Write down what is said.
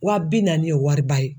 Wa bi naani o ye wariba ye.